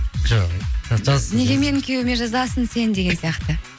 жоқ ей неге менің күйеуіме жазасың сен деген сияқты